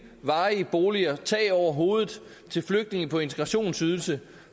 varige boliger tag over hovedet til flygtninge på integrationsydelse